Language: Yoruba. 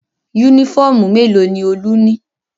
Únífọ́ọ́mù mélòó ni Olú ní?